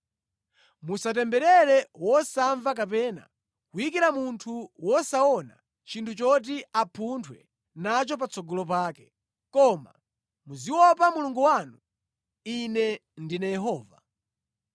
“ ‘Musatemberere wosamva kapena kuyikira munthu wosaona chinthu choti apunthwe nacho patsogolo pake, koma muziopa Mulungu wanu. Ine ndine Yehova.